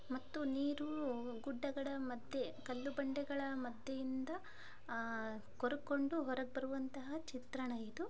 ಮತ್ತು ನೀರು ಗುಡ್ಡಗಳ ಮಧ್ಯೆ ಕಲ್ಲು ಬಂಡೆಗಳ ಮಧ್ಯೆಯಿಂದ ಅಹ್ ಕೋರ್ಗಕೊಂಡು ಹೊರಗ ಬರುವಂತಹ ಚಿತ್ರಣ ಇದು.